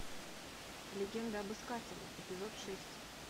легенда об искателе эпизод шесть